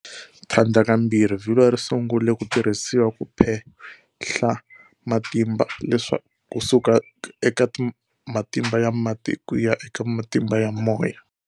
Thlandla kambirhi vilwa risungule kutirhisiwa kuphehla matimba kusuka eka matimba ya mati kuya eka matimba ya moya.